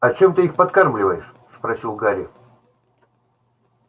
а чем ты их подкармливаешь спросил гарри